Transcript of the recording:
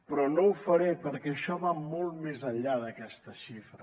però no ho faré perquè això va molt més enllà d’aquesta xifra